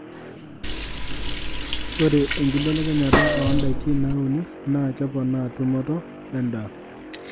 Ore enkibelekenyata oo ndaiki nauni naa keponaa tumoto endaa.